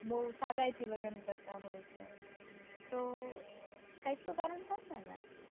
બૌ સાદાઈથી લગ્ન કરતા હોય છે તો કૈક તો કારણ હશે ને